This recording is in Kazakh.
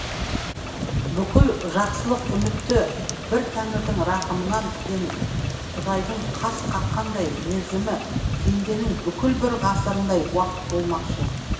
бүкіл жақсылық үмітті бір тәңірдің рақымынан күтемін құдайдың қас қаққандай мерзімі пенденің бүкіл бір ғасырындай уақыт болмақшы